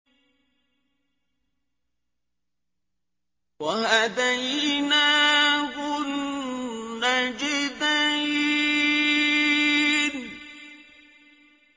وَهَدَيْنَاهُ النَّجْدَيْنِ